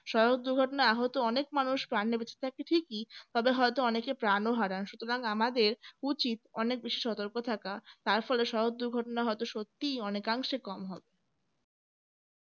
সড়ক দুর্ঘটনায় আহত অনেক মানুষ প্রাণে বেঁচে থাকে ঠিকই তবে হয়তো অনেকে প্রাণ ও হারান সুতরাং আমাদের উচিত অনেক বেশি সতর্ক থাকা তার ফলে সড়ক দুর্ঘটনা হয়তো সত্যিই অনেকাংশে কম হবে